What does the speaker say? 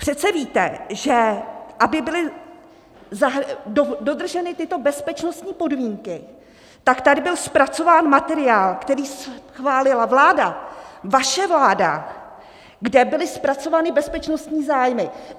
Přece víte, že aby byly dodrženy tyto bezpečnostní podmínky, tak tady byl zpracován materiál, který schválila vláda - vaše vláda - kde byly zpracovány bezpečnostní zájmy.